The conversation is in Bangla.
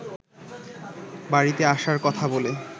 বাড়িতে আসার কথা বলে